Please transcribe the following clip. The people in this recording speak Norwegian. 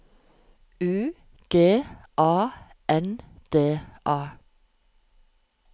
U G A N D A